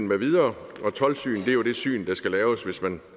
med videre og toldsyn er jo det syn der skal laves hvis man